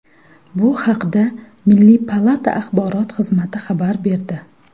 Bu haqda milliy palata axborot xizmati xabar berdi .